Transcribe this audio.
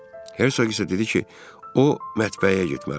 Hersoq isə dedi ki, o mətbəyə getməlidir.